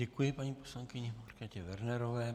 Děkuji paní poslankyni Markétě Wernerové.